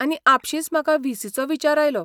आनी आपशींच म्हाका व्ही.सी. चो विचार आयलो.